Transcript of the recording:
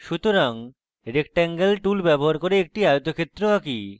সুতরাং rectangle tool ব্যবহার করে একটি আয়তক্ষেত্র আঁকি